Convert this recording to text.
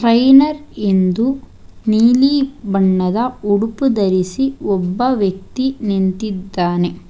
Trainer ಎಂದು ನೀಲಿ ಬಣ್ಣದ ಉಡುಪು ಧರಿಸಿ ಒಬ್ಬ ವ್ಯಕ್ತಿ ನಿಂತಿದ್ದಾನೆ.